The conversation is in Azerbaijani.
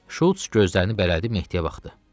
Şults gözlərini bərələdə Mehdiyə baxdı.